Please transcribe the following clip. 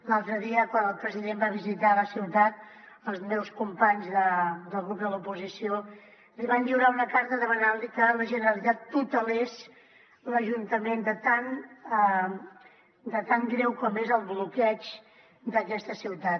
l’altre dia quan el president va visitar la ciutat els meus companys del grup de l’oposició li van lliurar una carta demanant li que la generalitat tutelés l’ajuntament de tan greu com és el bloqueig d’aquesta ciutat